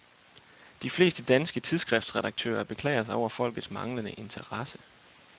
De fleste danske tidsskriftredaktører beklager sig over folkets manglende interesse.